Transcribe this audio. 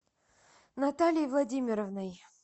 натальей владимировной